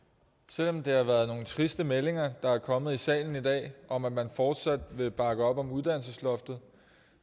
selv om det har været nogle triste meldinger der er kommet i salen i dag om at man fortsat vil bakke op om uddannelsesloftet